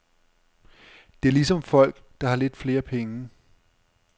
Det er ligesom folk, der har lidt flere penge.